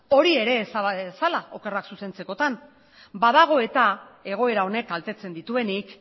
hori ere ezaba dezala okerrak zuzentzekotan badago eta egoera honek kaltetzen dituenik